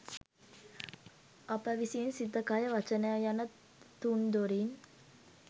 අප විසින් සිත කය වචනය යන තුන් දොරින්